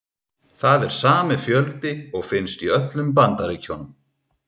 Það er sami fjöldi og finnst í öllum Bandaríkjunum.